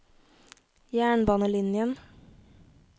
jernbanelinjen